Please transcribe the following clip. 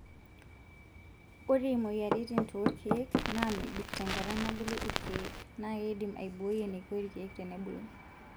Ore imoyiaritin toorkiek naa mebik tenkata nabulu irkiek na keidim aibooi eneiko irkiek tenebulu.